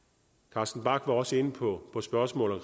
carsten bach var også inde på spørgsmålet